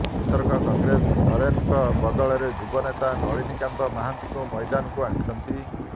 ଏଥରକ କଂଗ୍ରେସ ନରେନଙ୍କ ବଦଳରେ ଯୁବନେତା ନଳିନୀକାନ୍ତ ମହାନ୍ତିଙ୍କୁ ମଇଦାନକୁ ଆଣିଛନ୍ତି